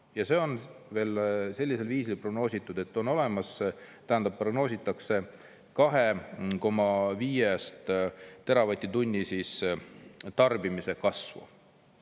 Ja see on veel sellisel viisil prognoositud, et on olemas, tähendab, prognoositakse 2,5-st teravatt-tunni tarbimise kasvu.